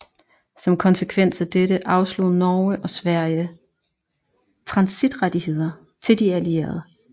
Som konsekvens af dette afslog Norge og Sverige transitrettigheder til de allierede